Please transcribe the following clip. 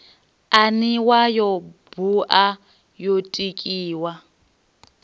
aniwa yo bua yo tikiwa